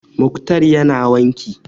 Mukhtar ya na wanki